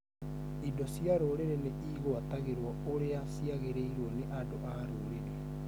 Indo cia rũrĩrĩ nĩ igwatagĩrwo ũrĩa ciagĩrĩrwo nĩ andũ a rũrĩrĩ